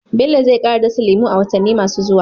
Bello zai kara dasa lemu a watanni masu zuwa.